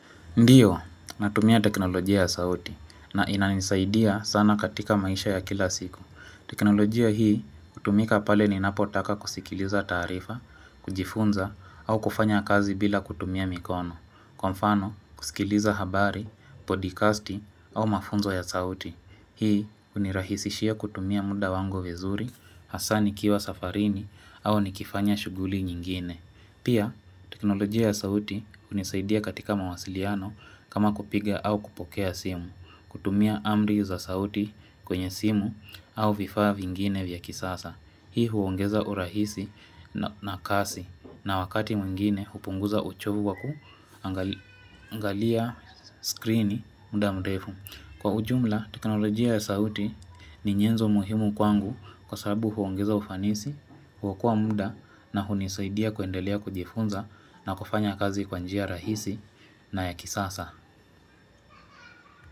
Ndio, natumia teknolojia ya sauti na inanisaidia sana katika maisha ya kila siku. Teknolojia hii hutumika pale ninapotaka kusikiliza taarifa, kujifunza au kufanya kazi bila kutumia mikono. Kwa mfano, kusikiliza habari, podcasti au mafunzo ya sauti. Hii hunirahisishia kutumia muda wangu vizuri, hasa nikiwa safarini au nikifanya shughuli nyingine. Pia, teknolojia ya sauti hunisaidia katika mawasiliano kama kupiga au kupokea simu, kutumia amri za sauti kwenye simu au vifaa vingine vya kisasa. Hii huongeza urahisi na kasi na wakati mwingine hupunguza uchovu wa kuangalia screen muda mrefu. Kwa ujumla, teknolojia ya sauti ni nyenzo muhimu kwangu kwa sababu huongeza ufanisi, huokoa muda na hunisaidia kuendelea kujifunza na kufanya kazi kwanjia rahisi na ya kisasa.